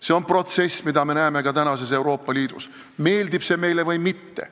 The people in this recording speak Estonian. See on protsess, mida me näeme ka tänases Euroopa Liidus, meeldib see meile või mitte.